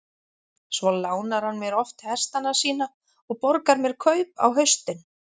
Svo lánar hann mér oft hestana sína og borgar mér kaup á haustin.